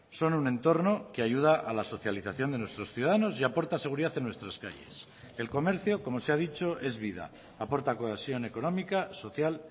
son un entorno que ayuda a la socialización de nuestros ciudadanos y aporta seguridad en nuestras calles el comercio como se ha dicho es vida aporta cohesión económica social